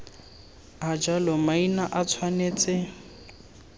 a jalo maina a tshwanetse